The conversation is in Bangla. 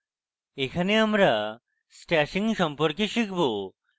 এখানে আমরা stashing সম্পর্কে শিখব